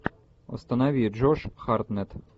установи джош хартнетт